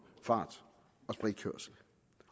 fart